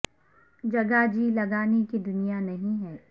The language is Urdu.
جگہ جی لگانے کی دنیا نہیں ہے